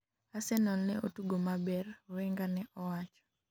Arsenal ne otugo maber,' Wenger ne owacho